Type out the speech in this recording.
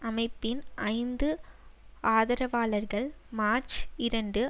அமைப்பின் ஐந்து ஆதரவாளர்கள் மார்ச் இரண்டு